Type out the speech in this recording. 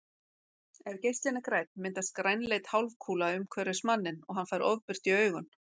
Ef geislinn er grænn myndast grænleit hálfkúla umhverfis manninn og hann fær ofbirtu í augun.